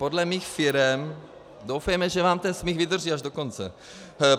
Podle mých firem - doufejme, že vám ten smích vydrží až do konce.